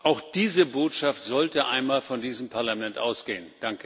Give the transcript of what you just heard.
Auch diese Botschaft sollte einmal von diesem Parlament ausgehen.